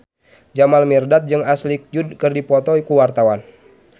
Jamal Mirdad jeung Ashley Judd keur dipoto ku wartawan